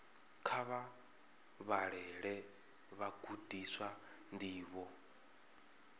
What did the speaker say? kha vha vhalele vhagudiswa ndivho